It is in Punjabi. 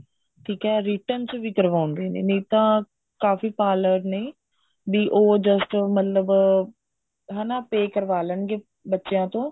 ਠੀਕ ਹੈ written ਚ ਵੀ ਕਰਵਾਉਂਦੇ ਨੇ ਨਹੀਂ ਤਾਂ ਕਾਫ਼ੀ parlor ਨੇ ਵੀ ਉਹ just ਮਤਲਬ ਅਹ pay ਕਰਵਾ ਲੇਣਗੇ ਬੱਚਿਆਂ ਤੋਂ